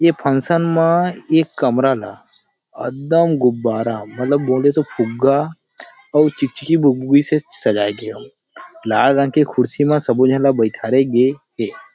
ये फंक्शन म एक कमरा ला एकदम गुब्बारा मतलब बोले तो फुग्गा और चिकचिकी से सजाया गे हे लाल रंग के कुर्सी मा सबों झन ल बैठारे गे हे ।